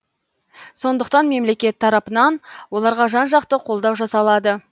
сондықтан мемлекет тарапынан оларға жан жақты қолдау жасалады